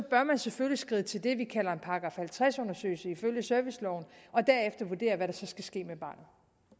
man selvfølgelig skride til det vi kalder en § halvtreds undersøgelse ifølge serviceloven og derefter vurdere hvad der så skal ske med barnet